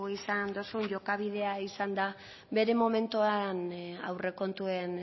izan dozun jokabidea izan da bere momentuan aurrekontuen